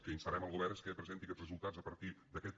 que instarem el govern és que presenti aquests resultats a partir d’aquest